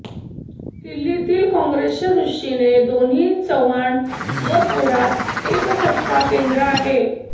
दिल्लीतील काँग्रेसच्या दृष्टीने दोन्ही चव्हाण व थोरात एक सत्ताकेंद्र आहे